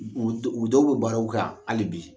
U u dɔ u dɔw bɛ baaraw kan hali bi.